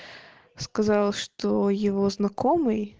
сказал что его знакомый